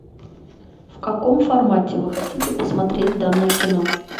в каком формате вы хотите посмотреть данное кино